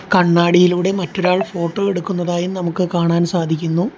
കണ്ണാടിയിലൂടെ മറ്റൊരാൾ ഫോട്ടോ എടുക്കുന്നതായും നമുക്ക് കാണാൻ സാധിക്കുന്നു.